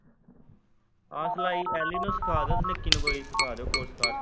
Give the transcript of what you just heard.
ਆਹ ਸਲਾਈ ਐੱਲ ਈ ਨੂੰ ਸਿਖਾ ਦਿਉ ਨਿੱਕੀ ਨੂੰ ਕੋਈ ਸਿੱਖਾ ਦਿਉ ਕੋੋਰਸ ਕਾਰਸ।